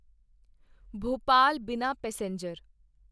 ਭੋਪਾਲ ਬਿਨਾ ਪੈਸੇਂਜਰ